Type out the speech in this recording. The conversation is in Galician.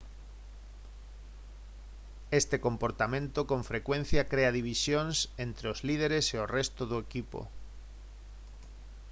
este comportamento con frecuencia crea divisións entre os líderes e o resto do equipo